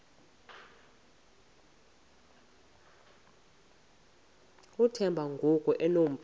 uthemba ngoku enompu